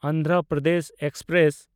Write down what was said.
Andhra Pradesh express